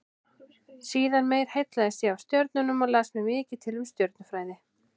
Síðar meir heillaðist ég af stjörnunum og las mér mikið til um stjörnufræði.